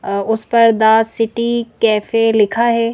उस पर the city cafe लिखा है।